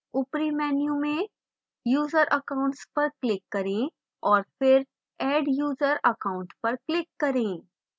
ऊपरी menu में user accounts पर click करें और फिर add user account पर click करें